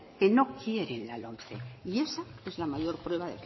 que no quieren la lomce y esa es la mayor prueba